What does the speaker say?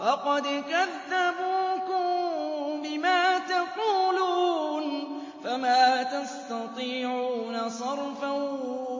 فَقَدْ كَذَّبُوكُم بِمَا تَقُولُونَ فَمَا تَسْتَطِيعُونَ صَرْفًا